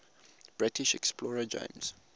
british explorer james